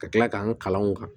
Ka tila k'an ka kalanw kan